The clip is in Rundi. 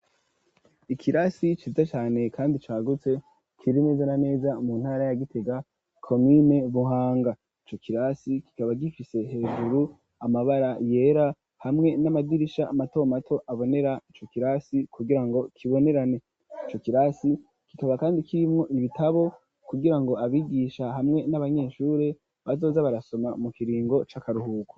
Ikirasi ciza cane kandi cagutse kiri neza na neza mu ntara ya Gitega komine Buhanga ico kirasi kikaba gifise hejuru amabara yera hamwe n'amadirisha mato mato abonera ico kirasi kugirango kibonerane ico kirasi kikaba kandi kirimwo ibitabo kugirango abigisha hamwe n'abanyeshuri bazoza barasoma mu kiringo c'akaruhuko.